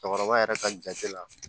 Cɛkɔrɔba yɛrɛ ka jate la